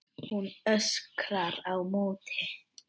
Hún öskrar á móti.